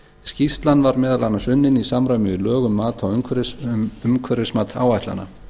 skýrslan var meðal annars unnin í samræmi við lög um mat á umhverfimat áætlana